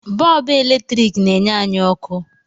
Bọọbụ eletrik n'enye anyị ọkụ